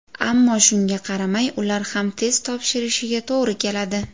Ammo shunga qaramay, ular ham test topshirishiga to‘g‘ri keladi.